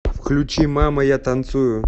включи мама я танцую